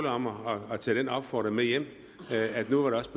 om at tage den opfordring med hjem at at det nu også